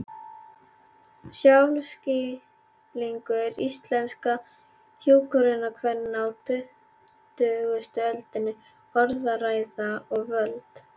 Sjálfsskilningur íslenskra hjúkrunarkvenna á tuttugustu öldinni: Orðræða og völd.